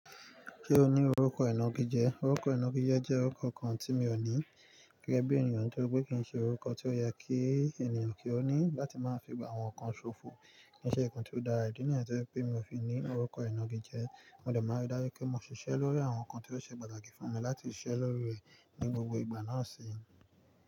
Ṣé o ní orúkọ ìná gijẹ? Orúkọ ìná gijẹ jẹ́ orúkọ kan tí mi ò ní. Gẹ́gẹ́ bí ènìyàn tó rí pé kì í ṣe orúkọ tí ó yẹ kí ènìyàn kí ó ní láti máa fi gba àwọn nǹkan ṣòfò, kì í ṣe nǹkan tí ó dára. Ìdí nìyẹn tí ó jẹ́ wí pé mi ò fi ní orúkọ ìná gijẹ, mo dẹ̀ mọ̀ dẹ̀ má rí dájú pé mo ṣiṣẹ́ lórí àwọn nǹkan tí ó ṣe pàtàkì fún mi láti ṣiṣẹ́ lórí rẹ̀ ní gbogbo ìgbà náà síní.